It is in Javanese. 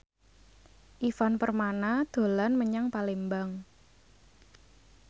Ivan Permana dolan menyang Palembang